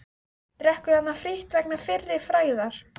Drekkur þarna frítt vegna fyrri frægðar.